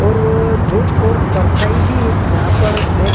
और धुप और परछाई भी यहाँ पर है ।